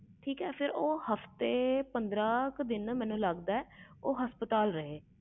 ਠੀਕ ਉਹ ਹਫਤੇ ਪੰਦਰਾਂ ਦਿਨ ਹਸਪਤਾਲ ਵਿਚ ਰਹੇ